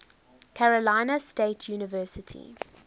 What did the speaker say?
carolina state university